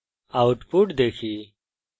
এখন output দেখি